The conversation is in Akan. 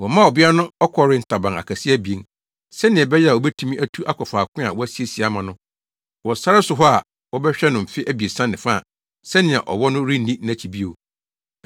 Wɔmaa ɔbea no ɔkɔre ntaban akɛse abien, sɛnea ɛbɛyɛ a obetumi atu akɔ faako a wɔasiesie ama no wɔ sare so hɔ a wɔbɛhwɛ no mfe abiɛsa ne fa sɛnea ɔwɔ no renni nʼakyi bio.